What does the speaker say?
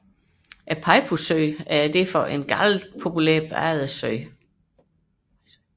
Peipussøen er derfor en populær badesø